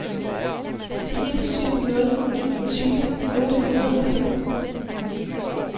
fire syv nul en tyve otte hundrede og femten